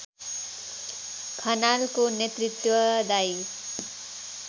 खनालको नेतृत्वदायी